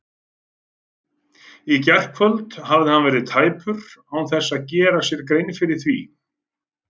Í gærkvöld hafði hann verið tæpur án þess að gera sér grein fyrir því.